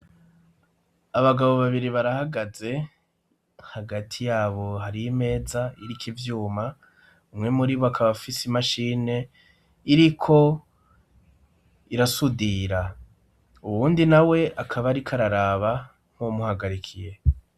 Abagabo babiri barahagaze, hagati yabo har' imeza irik' ivyuma, umwe murib'akabafis'imashine iriko irasudira, uwundi nawe akaba arik'araraba nk'umuhagarikiye.